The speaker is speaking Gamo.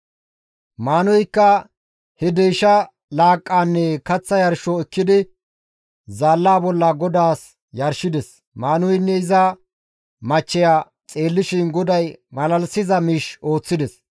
Maanuheykka he deysha laaqqaanne kaththa yarsho ekkidi, zaalla bolla GODAAS yarshides; Maanuheynne iza machcheya xeellishin GODAY malalisiza miish ooththides.